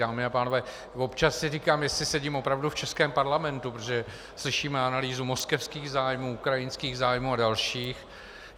Dámy a pánové, občas si říkám, jestli sedím opravdu v českém parlamentu, protože slyším analýzu moskevských zájmů, ukrajinských zájmů a dalších.